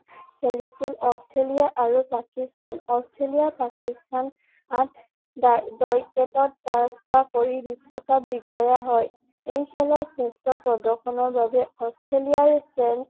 খেলিছিল অষ্ট্ৰেলিয়া আৰু পাকিস্তান অষ্ট্ৰেলিয়া পাকিস্তানত বিশ্বকাপ বিজয়া হয় এই খেলত শ্ৰেষ্ঠ প্ৰৰ্দশনৰ বাবে অষ্ট্ৰেলিয়াৰ